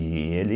E ele...